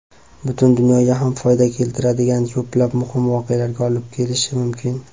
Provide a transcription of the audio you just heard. butun dunyoga ham foyda keltiradigan ko‘plab muhim voqealarga olib kelishi mumkin.